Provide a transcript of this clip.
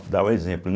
Dar o exemplo.